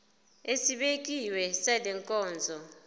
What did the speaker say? esibekiwe sale nkonzo